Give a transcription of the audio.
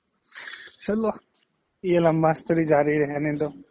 চাল্লা yeh লাম্বা story জাৰি ৰেহনে do